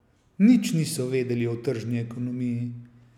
Nič niso vedeli o tržni ekonomiji.